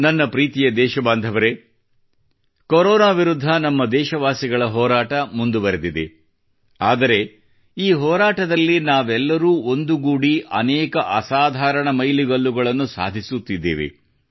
ನನ್ನ ಪ್ರೀತಿಯ ದೇಶಬಾಂಧವರೇ ಕೊರೋನಾ ವಿರುದ್ಧ ನಮ್ಮ ದೇಶವಾಸಿಗಳ ಹೋರಾಟ ಮುಂದುವರಿದಿದೆ ಆದರೆ ಈ ಹೋರಾಟದಲ್ಲಿ ನಾವೆಲ್ಲರೂ ಒಂದುಗೂಡಿ ಅನೇಕ ಅಸಾಧಾರಣ ಮೈಲಿಗಲ್ಲುಗಳನ್ನು ಸಾಧಿಸುತ್ತಿದ್ದೇವೆ